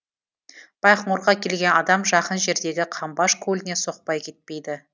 байқоңырға келген адам жақын жердегі қамбаш көліне соқпай кетпейді